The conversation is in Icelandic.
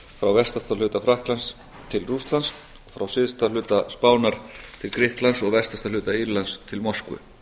frá vestasta hluta frakklands til rússlands frá syðsta hluta spánar til grikklands og vestasta hluta írlands til moskvu